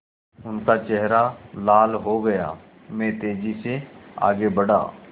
उनका चेहरा लाल हो गया मैं तेज़ी से आगे बढ़ा